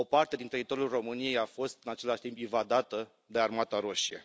O parte din teritoriul României a fost, în același timp, invadată de Armata Roșie.